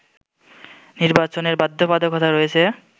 নির্বাচনের বাধ্যবাধকতা রয়েছে